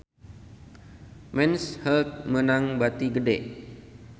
Men's Health meunang bati gede